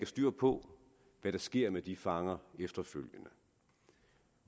styr på hvad der sker med de fanger efterfølgende